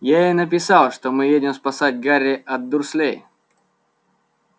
я ей написал что мы едем спасать гарри от дурслей